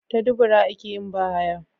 Ta dubura akeyin ba haya